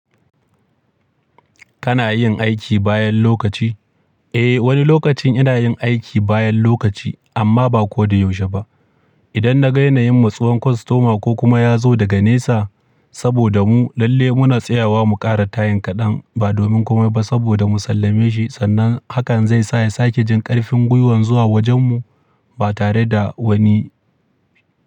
Kana yin aiki bayan lokaci? Eh, wani lokacin ina yin aiki bayan lokaci amma ba ko da yaushe ba. Idan na ga yana yin matsuwan kwastoma ko kuma ya zo daga nesa saboda mu lalle muna tsayawa mu ƙara tayin kaɗan ba domin kuma ba saboda mu sallame shi sannan hakan zai sa ya sake jin ƙarfin gwiwan zuwa wajen mu ba tare da wani.